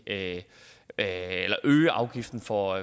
at at øge afgiften for